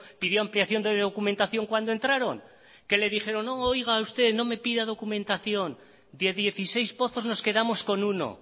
pidió ampliación de documentación cuando entraron que le dijeron no oiga usted no me pida documentación de dieciséis pozos nos quedamos con uno